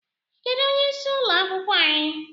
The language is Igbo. Kedụ onye ịsị ụlọ akwụkwọ anyị?